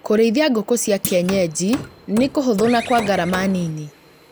Kũrĩithia ngũkũ cia kienyeji nĩ kũhũthũ na kwa ngarama nini